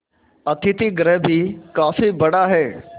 अतिथिगृह भी काफी बड़ा